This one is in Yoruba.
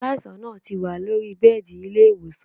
Aláìsàn náà ti wà lóri bẹ́ẹ̀dì ilé-ìwòsàn